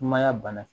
Mayan bana